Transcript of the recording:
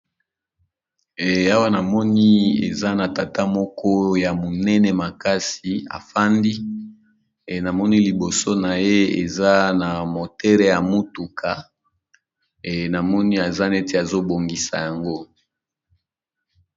Eyawa na moni eza na tata moko ya monene makasi afandi e namoni liboso na ye eza na motere ya motuka e na moni aza neti azo bongisa yango.